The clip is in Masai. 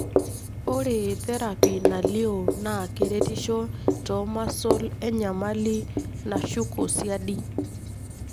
ore therapy nalio na keretisho tomuscle enyamali nashuko siadi.